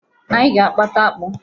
Anyị ga-agbata akpụ.